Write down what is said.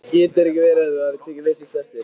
Getur ekki verið að þú hafir tekið vitlaust eftir?